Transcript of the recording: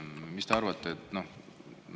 Mis te arvate?